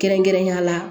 Kɛrɛnkɛrɛnnenya la